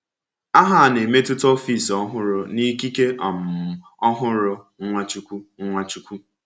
Aha a na-emetụta ọfịs ọhụrụ na ikike um ọhụrụ Nwachukwu. Nwachukwu.